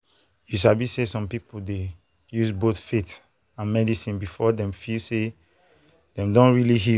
you sabi say some people dey use both faith and medicine before dem feel say dem don really heal.